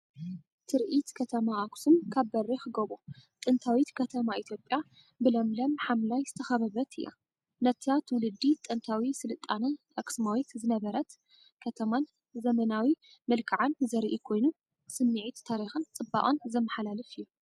ትርኢት ከተማ ኣኽሱም ካብ በሪኽ ጎቦ። ጥንታዊት ከተማ ኢትዮጵያ ብለምለም ሓምላይ ዝተኸበበት እያ። ነታ ትውልዲ ጥንታዊ ስልጣነ (ኣክሱማዊት) ዝነበረት ከተማን ዘመናዊ መልክዓን ዘርኢ ኮይኑ፡ ስምዒት ታሪኽን ጽባቐን ዘመሓላልፍ እዩ።